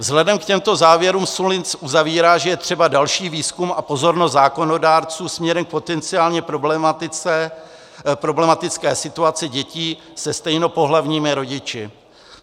Vzhledem k těmto závěrům Sullins uzavírá, že je třeba další výzkum a pozornost zákonodárců směrem k potenciálně problematické situaci dětí se stejnopohlavními rodiči.